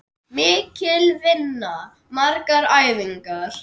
Mikil vinna, margar æfingar